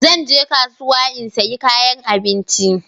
Zan je kasuwa in sayi kayan abinci.